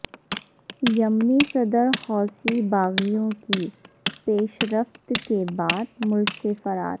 یمنی صدر حوثی باغیوں کی پیشرفت کے بعد ملک سے فرار